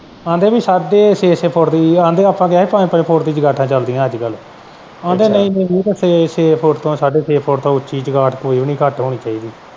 ਆਂਦੇ ਹੀ ਪੀ ਸਾਡੇ ਛੇ-ਛੇ ਫੁੱਟ ਦੀ ਆਂਦੇ ਆਪਾਂ ਕਿਹਾ ਪੰਜ-ਪੰਜ ਫੁੱਟ ਦੀਆਂ ਚੰਗਾਂਠਾ ਚੱਲਦੀਆਂ ਅੱਜ ਕੱਲ।